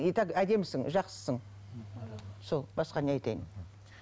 итак әдемісің жақсысың сол басқа не айтайын